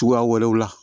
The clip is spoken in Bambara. Cogoya wɛrɛw la